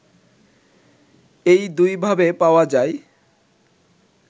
এই দুইভাবে পাওয়া যায়